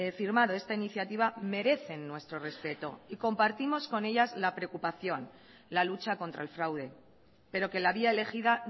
firmado esta iniciativa merecen nuestro respeto y compartimos con ellas la preocupación la lucha contra el fraude pero que la vía elegida